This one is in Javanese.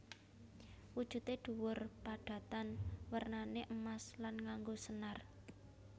Wujude dhuwur padatan wernané emas lan nganggo senar